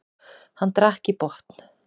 Hann drakk í botn.